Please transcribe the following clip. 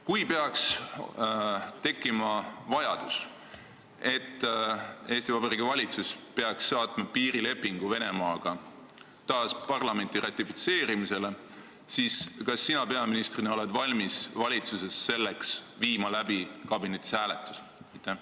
Kui peaks tekkima vajadus, et Eesti Vabariigi valitsus peaks saatma piirilepingu Venemaaga taas parlamenti ratifitseerimisele, siis kas sina peaministrina oled valmis valitsuskabinetis selleks hääletuse läbi viima?